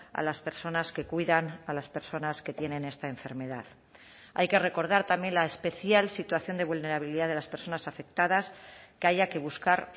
a las personas que cuidan a las personas que tienen esta enfermedad hay que recordar también la especial situación de vulnerabilidad de las personas afectadas que haya que buscar